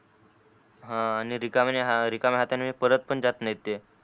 हा आणि रिकाम्या रिकाम्या हातानी परत पण जात नाही ते